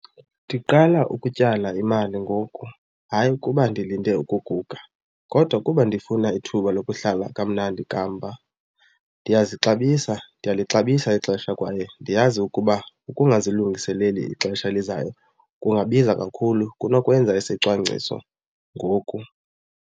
Ndiqala ukutyala imali ngoku hayi ukuba ndilinde ukuguga kodwa kuba ndifuna ithuba lokuhlala kamnandi kamva. Ndiyazixabisa, ndiyalixabisa ixesha kwaye ndiyazi ukuba ukungazilungiseleli ixesha elizayo kungabiza kakhulu kunokwenza isicwangciso ngoku.